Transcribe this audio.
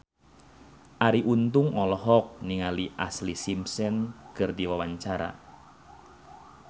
Arie Untung olohok ningali Ashlee Simpson keur diwawancara